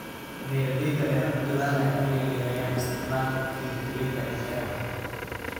Beeralayda ayaa ku dadaalaya inay yareeyaan isticmaalka kiimikada ee beeraha.